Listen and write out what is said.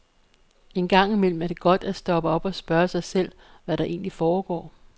En gang imellem er det godt at stoppe op og spørge sig selv, hvad der egentlig foregår.